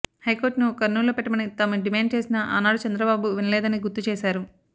హైకోర్టును కర్నూల్ లో పెట్టమని తాము డిమాండ్ చేసినా ఆనాడు చంద్రబాబు వినలేదని గుర్తుచేశారు